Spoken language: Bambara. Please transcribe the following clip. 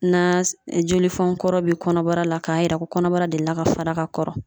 Na jolifɔnkɔrɔ bɛ kɔnɔbara la k'a yira ko kɔnɔbara delila ka fara ka kɔrɔ.